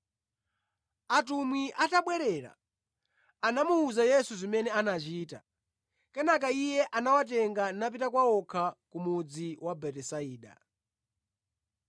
Atumwi atabwerera, anamuwuza Yesu zimene anachita. Kenaka Iye anawatenga napita kwa okha ku mudzi wa Betisaida.